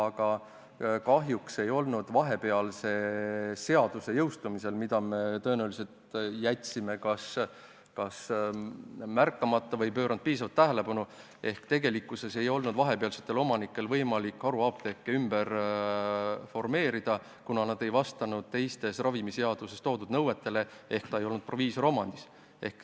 Aga kahjuks ei olnud selle seaduse jõustumisel vahepealsetel omanikel võimalik haruapteeke ümber formeerida – me tõenäoliselt kas ei märganud seda või ei pööranud sellele piisavalt tähelepanu –, kuna need apteegid ei vastanud teistele ravimiseaduses toodud nõuetele ehk need ei olnud proviisorite omad.